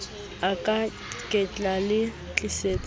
a ka ketla le tlisetsa